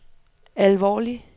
alvorlig